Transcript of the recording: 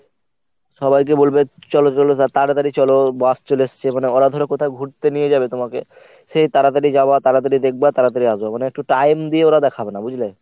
সবাইকে বলবে চল চল তাড়াতাড়ি চল bus চলে এসছে। মানে ওরা ধর কোথাও ঘুরতে নিয়ে যাবে তোমাকে, সেই তাড়াতাড়ি যাওয়া তাড়াতাড়ি দেখবা তাড়াতাড়ি আসবা। মানে একটু time দিয়ে ওরা দেখাবে না, বুঝলে?